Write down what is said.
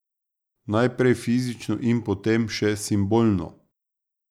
Najprej fizično in potem še simbolno.